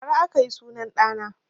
Bara aka yi sunan ɗa na